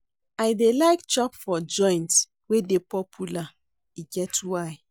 I dey like chop for joint wey dey popular, e get why.